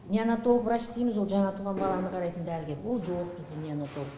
неонатолог врач дейміз ол жаңа туған баланы қарайтын дәрігер ол жоқ бізде неонатолог